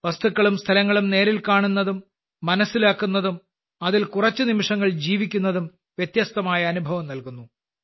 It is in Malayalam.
വസ്തുക്കളും സ്ഥലങ്ങളും നേരിൽ കാണുന്നതും മനസ്സിലാക്കുന്നതും അതിൽ കുറച്ച് നിമിഷങ്ങൾ ജീവിക്കുന്നതും വ്യത്യസ്തമായ അനുഭവം നൽകുന്നു